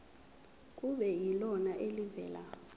kube yilona elivela